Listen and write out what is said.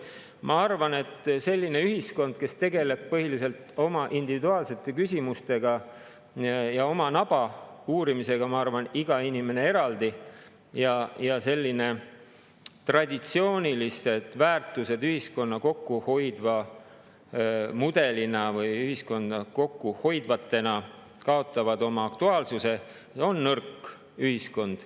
Ma arvan, et selline ühiskond, kes tegeleb põhiliselt oma individuaalsete küsimustega ja oma naba uurimisega, iga inimene eraldi, ja kus selline traditsiooniline ühiskonnamudel, kus väärtused on ühiskonna kooshoidjad, kaotab oma aktuaalsuse, on nõrk ühiskond.